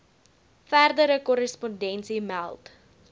verdere korrespondensie meld